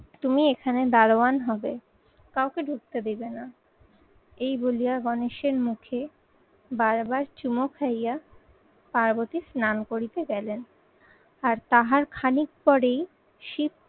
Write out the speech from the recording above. তুমি এখানে দারোয়ান হবে, কাউকে ঢুকতে দেবে না এই বলিয়া গণেশের মুখে বারবার চুমু খাইয়া পার্বতী স্নান করিতে গেলেন। আর তাহার খানিক পরেই শিব